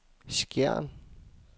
Skjern